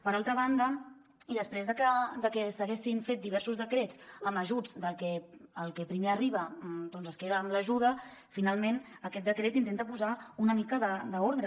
per altra banda i després que s’haguessin fet diversos decrets amb ajuts del que primer arriba es queda amb l’ajuda finalment aquest decret intenta posar una mica d’ordre